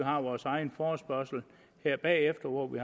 har vores egen forespørgsel her bagefter hvor vi